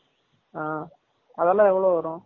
ஆ அது எல்லாம் எவலோ வரும்?